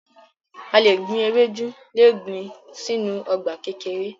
A le gbin ewedu le gbin sinu ọgba kekere